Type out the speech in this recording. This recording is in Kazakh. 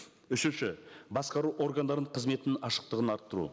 үшінші басқару органдарының қызметінің ашықтығын арттыру